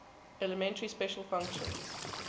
elementary special functions